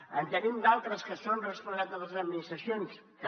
en tenim d’altres que són responsabilitat de les administracions també